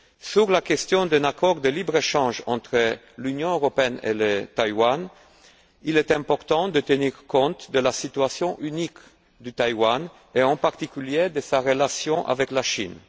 Sur la question d'un accord de libre échange entre l'Union européenne et Taïwan, il est important de tenir compte de la situation unique de Taïwan, et en particulier de sa relation avec la Chine.